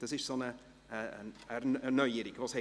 Dies ist eine Neuerung.